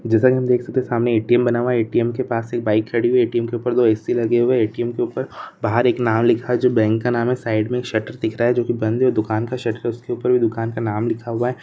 जैसा हम देख सकते है की सामने ए.टी.एम बना हुआ है ए.टी.एम के पास बाइक खड़ी है ए.टी.एम के ऊपर दो ए-सी लगी हुई है ए.टी.एम के ऊपर बहार एक नाम लिखा है जो बैंक का नाम है साइड में एक शटर दिख रहा है जो कि बंद है दुकान का शटर उसके ऊपर भी दकन का नाम लिखा हुआ है।